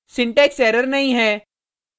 syntax error नहीं है